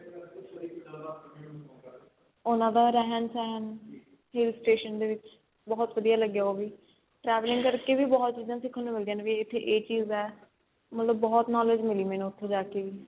ਉਹਨਾ ਦਾ ਰਹਿਣ ਸਹਿਣ hill station ਦੇ ਵਿੱਚ ਬਹੁਤ ਵਧੀਆ ਲਗਿਆ ਉਹ ਵੀ traveling ਕਰ ਕੇ ਵੀ ਬਹੁਤ ਚੀਜ਼ਾਂ ਸਿਖਣ ਨੂੰ ਮਿਲਦੀਆਂ ਨੇ ਵੀ ਇੱਥੇ ਇਹ ਚੀਜ ਏ ਮਤਲਬ ਬਹੁਤ knowledge ਮਿਲੀ ਮੈਨੂੰ ਉੱਥੇ ਜਾ ਕੇ ਵੀ